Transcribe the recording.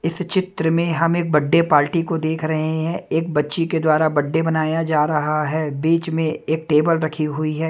इस चित्र में हम एक बर्थडे पार्टी को देख रहे हैं एक बच्ची के द्वारा बर्थडे बनाया जा रहा है बीच में एक टेबल रखी हुई है।